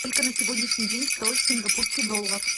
сколько на сегодняшний день стоит сингапурский доллар